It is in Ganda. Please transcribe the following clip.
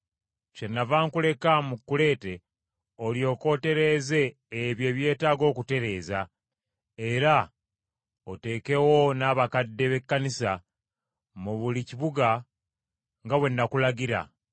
Kyennava nkuleka mu Kuleete, olyoke otereeze ebyo ebyetaaga okutereeza, era otekewo n’abakadde b’ekkanisa mu buli kibuga, nga bwe nakulagira.